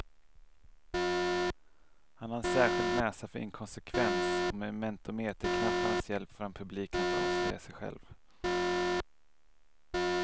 Han har en särskild näsa för inkonsekvens, och med mentometerknapparnas hjälp får han publiken att avslöja sig själv.